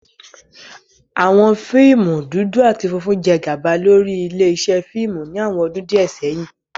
Awọn fiimu dudu ati funfun jẹ gaba lori ile-iṣẹ fiimu ni awọn ọ́dùn diẹ sẹyin.